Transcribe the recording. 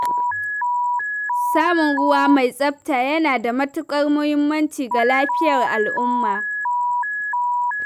Samun ruwa mai tsafta yana da matuƙar muhimmanci ga lafiyar al'umma.